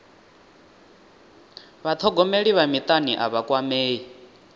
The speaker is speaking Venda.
vhathogomeli vha mutani a vha kwamei